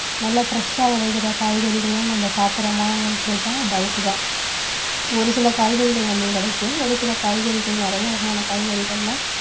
நல்ல fresh ஆ விளைகிற காய்கறிகள்லாம் நம்ம சாப்பிடுறோமான்னு கேட்டா doubt தான் ஒரு சில காய்கறிகள் நமக்கு கிடைக்கும் ஒரு சில காய்கறிகள் நிறைய வகையான காய்கறிகள்லாம்